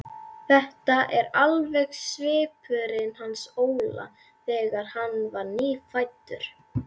Þetta er alveg svipurinn hans Óla þegar hann var nýfæddur.